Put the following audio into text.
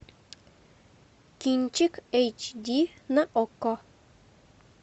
кинчик эйч ди на окко